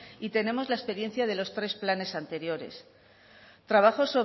y tenemos la experiencia de los tres planes anteriores